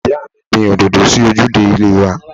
Ìyáàmi gbìn òdòdó sí ojúde ilé wa.